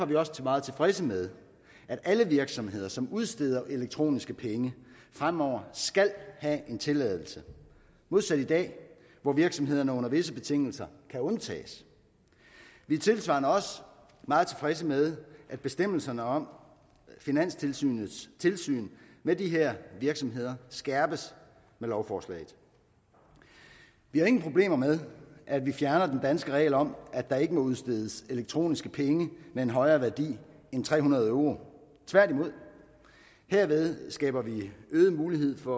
vi også meget tilfredse med at alle virksomheder som udsteder elektroniske penge fremover skal have en tilladelse modsat i dag hvor virksomhederne under visse betingelser kan undtages vi er tilsvarende også meget tilfredse med at bestemmelserne om finanstilsynets tilsyn med de her virksomheder skærpes med lovforslaget vi har ingen problemer med at vi fjerner den danske regel om at der ikke må udstedes elektroniske penge med en højere værdi end tre hundrede euro tværtimod herved skaber vi en øget mulighed for